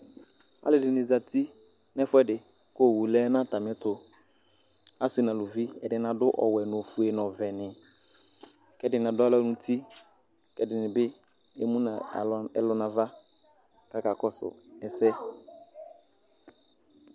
alʊɛdɩnɩ zati nʊ ɛfʊɛdɩ, kʊ owu lɛ nʊ atamiɛtʊ, asi nʊ aluvi, ɛdɩnɩ adʊ ofue nʊ ɔwɛ, nʊ ɔvɛnɩ, ɛdɩnɩ adʊ alɔ n'uti, ɛdɩnɩ bɩ emu nʊ alɔ n'ava, kʊ akakɔsʊ ɛsɛ,